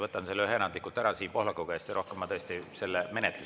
Võtan erandlikult ühe Siim Pohlaku küsimuse ja rohkem ma tõesti selle menetluse käigus ei võta.